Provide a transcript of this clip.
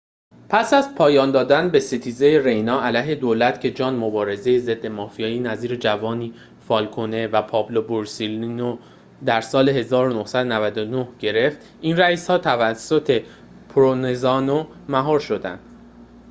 پس از پایان دادن به ستیزه رینا علیه دولت که جان مبارزان ضد مافیا نظیر جووانی فالکونه و پائولو بورسلینو را در ۱۹۹۲ گرفت این رئیس‌ها توسط پروونزانو مهار شدند